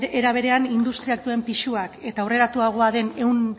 era berean industriak duen pisuak eta aurreratuagoa den ehun